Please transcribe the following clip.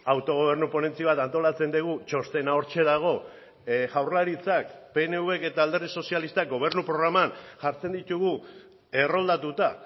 autogobernu ponentzia bat antolatzen dugu txostena hortxe dago jaurlaritzak pnvk eta alderdi sozialistak gobernu programan jartzen ditugu erroldatuta